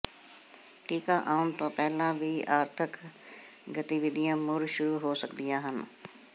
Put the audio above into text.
ਟੀਕਾ ਆਉਣ ਤੋਂ ਪਹਿਲਾਂ ਵੀ ਆਰਥਕ ਗਤੀਵਿਧੀਆਂ ਮੁੜ ਸ਼ੁਰੂ ਹੋ ਸਕਦੀਆਂ ਹਨ